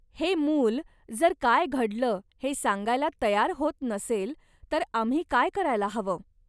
हे मूल जर काय घडलं हे सांगायला तयार होत नसेल तर आम्ही काय करायला हवं?